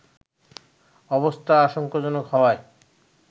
অবস্থা আশঙ্কাজনক হওয়ায়